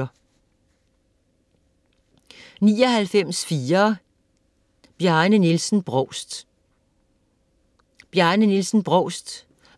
99.4 Brovst, Bjarne Nielsen Brovst, Bjarne Nielsen: